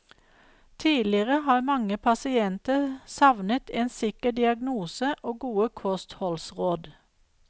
Tidligere har mange pasienter savnet en sikker diagnose og gode kostholdsråd.